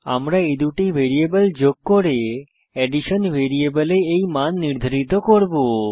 আমরা এই দুটি ভ্যারিয়েবল যোগ করে অ্যাডিশন ভ্যারিয়েবলে এই মান নির্ধারিত করব